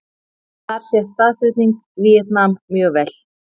Þar sést staðsetning Víetnam mjög vel.